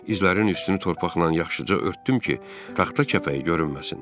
İzlərin üstünü torpaqla yaxşıca örtdüm ki, taxta kəpəyi görünməsin.